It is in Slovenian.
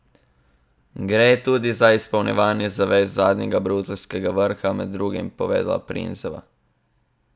Gre tudi za izpolnjevanje zavez z zadnjega bruseljskega vrha, je med drugim povedala Prinzeva.